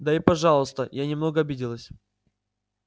да и пожалуйста я немного обиделась